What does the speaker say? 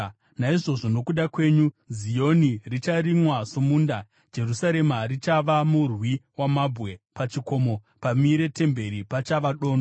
Naizvozvo nokuda kwenyu, Zioni richarimwa somunda, Jerusarema richava murwi wamabwe, pachikomo pamire temberi, pachava dondo.